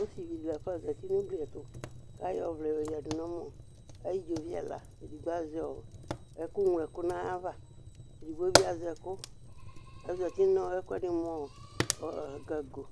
Ɔsɩvɩ dɩ lafa ozǝtɩ nʋ ugli ɛtʋ, kʋ ayɔ ɔvlɛ yoyǝdʋ nʋ ɛmɔ Ayʋ idzovi ɛla nɩbɩ azɛ ɛkʋŋloɛkʋ nʋ aɣla Edigbo bɩ azɛ ekʋ, kʋ ozǝtɩ nʋ ɛkʋɛdɩ ava mʋ gago